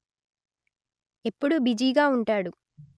ఎప్పుడూ బిజీగా ఉంటాడు